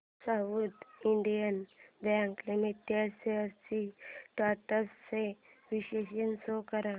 south Indian Bank Limited shares trends चे विश्लेषण show कर